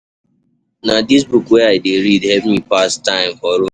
Na dis book wey I dey read help me pass time for road.